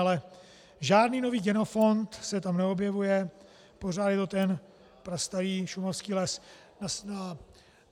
Ale žádný nový genofond se tam neobnovuje, pořád je to ten prastarý šumavský les.